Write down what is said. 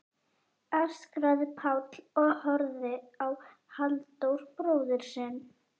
öskraði Páll og horfði á Halldór bróður sinn.